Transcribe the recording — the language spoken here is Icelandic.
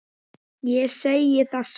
Þig vil ég ekki missa.